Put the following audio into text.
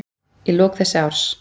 í lok þess árs.